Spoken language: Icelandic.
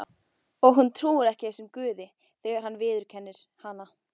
Og hún trúir ekki þessum Guði þegar hann viðurkennir hana.